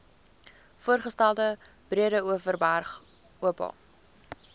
voorgestelde breedeoverberg oba